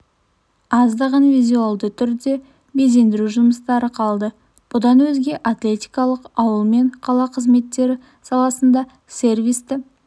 аздаған визуалды түрде безендіру жұмыстары қалды бұдан өзге атлетикалық ауыл мен қала қызметтері саласында сервисті